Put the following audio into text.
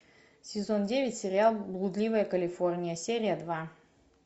сезон девять сериал блудливая калифорния серия два